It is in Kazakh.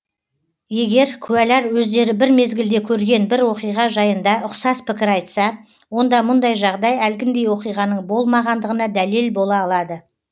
егер куәлар өздері бір мезгілде көрген бір оқиға жайында ұқсас пікір айтса онда мұндай жағдай әлгіндей оқиғаның болмағандығына дәлел бола алады